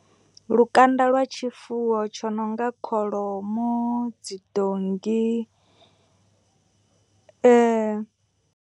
Lukanda lwa tshifuwo tsho nonga kholomo dzi donngi .